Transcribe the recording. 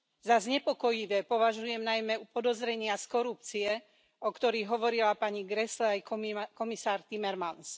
Za znepokojivé považujem najmä podozrenia z korupcie, o ktorých hovorila pani Grässle aj komisár Timmermans.